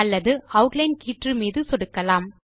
அல்லது ஆட்லைன் கீற்று மீது சொடுக்கலாம்